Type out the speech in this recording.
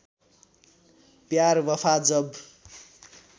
प्यार वफा जब